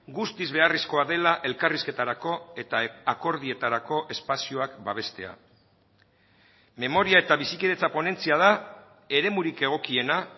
guztiz beharrezkoa dela elkarrizketarako eta akordioetarako espazioak babestea memoria eta bizikidetza ponentzia da eremurik egokiena